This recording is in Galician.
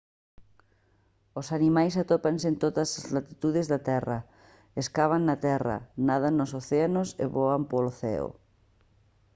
os animais atópanse en todas as latitudes da terra escavan na terra nadan nos océanos e voan polo ceo